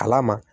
Kala ma